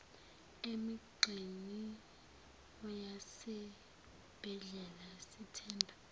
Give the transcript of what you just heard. emigqeni yasezibhedlela sithemba